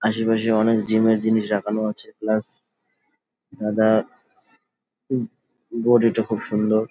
আসে পাশে অনেক জিম -এর জিনিস রাখানো আছে প্লাস দাদার বডি -টা খুব সুন্দর।